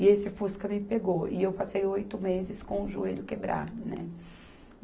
E esse fusca me pegou e eu passei oito meses com o joelho quebrado, né?